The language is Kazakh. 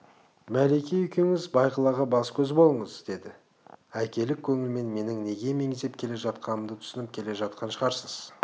мәлике екеуіңіз бағилаға бас-көз болыңыз деді әкелік көңілмен менің неге меңзеп келе жатқанымды түсініп келе жатқан шығарсыз